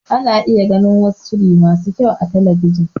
Ana iya gani wasu shiri masu kyau a talabijin.